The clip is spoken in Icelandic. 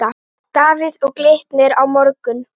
Davíð Og Glitnir á morgun.